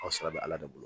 O sɔrɔ bɛ ala de bolo